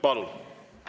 Palun!